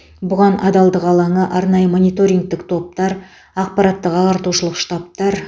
бұған адалдық алаңы арнайы мониторингтік топтар ақпараттық ағартушылық штабтар